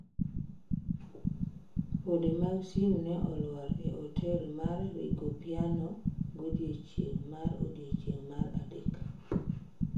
Pode mag simu ne olwar e otel mar Rigopiano godiechieng' mar odiechieng' mar adek.